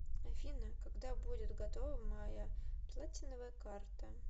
афина когда будет готова моя платиновая карта